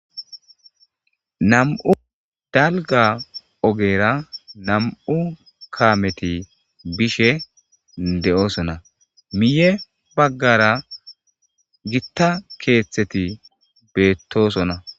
Nam'u dalga ogera nam'u kameti bishen de'osona miye bagara githa kethati betosona.